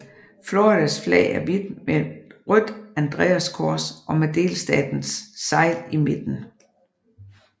Floridas flag er hvidt med et rødt andreaskors og med delstatens segl i midten